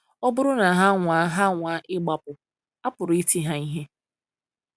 Ọ bụrụ na ha anwaa ha anwaa ịgbapụ, a pụrụ iti ha ihe.